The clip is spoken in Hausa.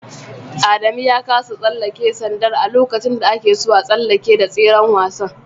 Adamu ya kasa tsallake sandar a lokaci da akeso a tsalleke da tseren wasan